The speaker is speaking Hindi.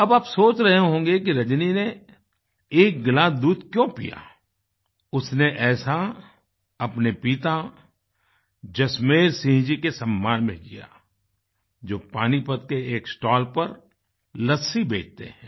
अब आप सोच रहे होंगे कि रजनी ने एक गिलास दूध क्यों पिया उसने ऐसा अपने पिता जसमेर सिंह जी के सम्मान में किया जो पानीपत के एक स्टॉल पर लस्सी बेचते हैं